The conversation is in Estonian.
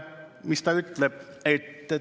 Mis ta ütleb?